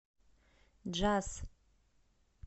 джаз